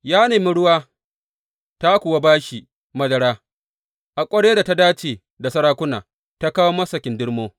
Ya nemi ruwa, ta kuwa ta ba shi madara; a ƙwaryar da ta dace da sarakuna ta kawo masa kindirmo.